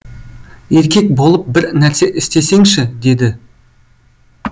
еркек болып бір нәрсе істесеңші деді